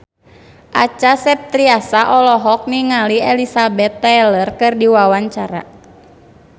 Acha Septriasa olohok ningali Elizabeth Taylor keur diwawancara